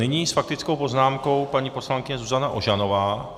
Nyní s faktickou poznámkou paní poslankyně Zuzana Ožanová.